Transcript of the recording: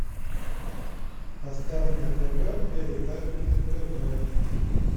поставь на тв передачу нтв